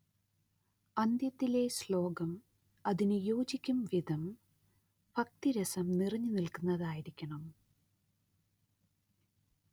അന്ത്യത്തിലെ ശ്ലോകം അതിന് യോജിക്കും വിധം ഭക്തിരസം നിറഞ്ഞുനിൽക്കുന്നതായിരിക്കണം